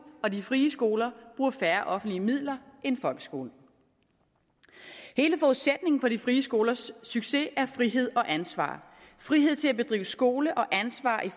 og de frie skoler bruger færre offentlige midler end folkeskolen hele forudsætningen for de frie skolers succes er frihed og ansvar frihed til at drive skole og ansvar i